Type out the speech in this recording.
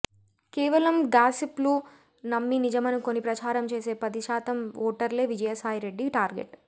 కేవలం గాసిప్ లు నమ్మి నిజమనుకుని ప్రచారం చేసే పదిశాతం ఓటర్లే విజయసాయిరెడ్డి టార్గెట్